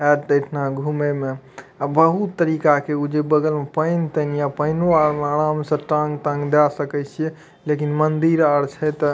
आएत ते एतना घूमे में अ बहुत तरीका के उ जे बगल में पैएन तेन ये पैएनो में आराम से टांग तांग दे सकय छीये लेकिन मंदिर आर छै ते --